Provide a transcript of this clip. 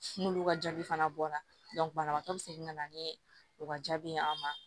N'olu ka jaabi fana bɔra banabagatɔ bɛ segin ka na ni o ka jaabi ye an ma